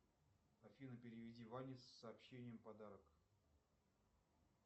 афина переведи ване с сообщением подарок